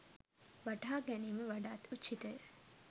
වටහා ගැනීම වඩාත් උචිතය.